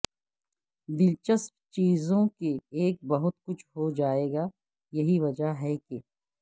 دلچسپ چیزوں کے ایک بہت کچھ ہو جائے گا یہی وجہ ہے کہ